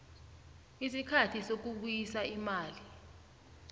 isikhathi sokubuyisa imali